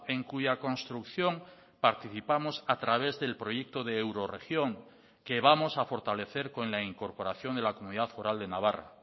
en cuya construcción participamos a través del proyecto de eurorregión que vamos a fortalecer con la incorporación de la comunidad foral de navarra